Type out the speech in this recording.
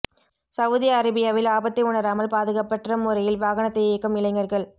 Saudi அரேபியாவில் ஆபத்தை உணராமல் பாதுகாப்பற்ற முறையில் வாகனத்தை இயக்கும் இளைஞர்கள்